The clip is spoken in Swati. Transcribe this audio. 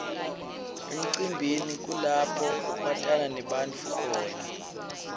emcimbini kulapho watana nebantfu khona